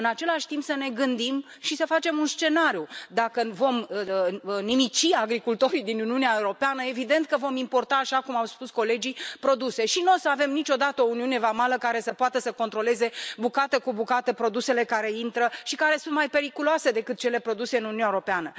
În același timp, să ne gândim și să facem un scenariu dacă vom nimici agricultorii din Uniunea Europeană, evident că vom importa, așa cum au spus colegii, produse și nu vom avea niciodată o uniune vamală care să poată să controleze bucată cu bucată produsele care intră și care sunt mai periculoase decât cele produse în Uniunea Europeană.